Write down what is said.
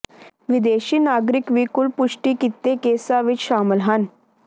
ਵਿਦੇਸ਼ੀ ਨਾਗਰਿਕ ਵੀ ਕੁੱਲ ਪੁਸ਼ਟੀ ਕੀਤੇ ਕੇਸਾਂ ਵਿਚ ਸ਼ਾਮਲ ਹਨ